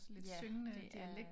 Ja det er